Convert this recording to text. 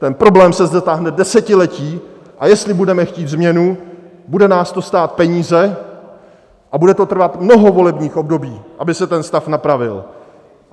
Ten problém se zde táhne desetiletí, a jestli budeme chtít změnu, bude nás to stát peníze a bude to trvat mnoho volebních období, aby se ten stav napravil.